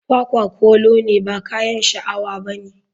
Kwakwa kolo ne ba kayan sha awa bane.